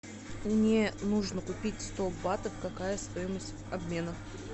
мне нужно купить сто батов какая стоимость обмена